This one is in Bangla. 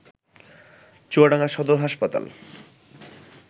চুয়াডাঙ্গা সদর হাসপাতাল